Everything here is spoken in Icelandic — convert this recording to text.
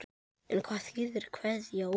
En hvað þýðir kveða úr?